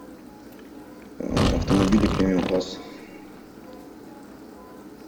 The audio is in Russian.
автомобили премиум класса